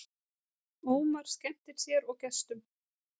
Ómar skemmtir sér og gestum